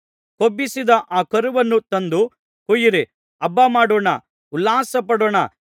ಕೊಬ್ಬಿಸಿದ ಆ ಕರುವನ್ನು ತಂದು ಕೊಯ್ಯಿರಿ ಹಬ್ಬಮಾಡೋಣ ಉಲ್ಲಾಸಪಡೋಣ